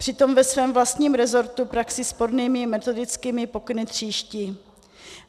Přitom ve svém vlastním resortu praxi spornými metodickými pokyny tříští.